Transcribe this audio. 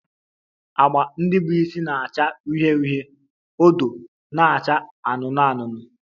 Agba ndị bụ isi na-acha uhie uhie, odo na-acha anụnụ anụnụ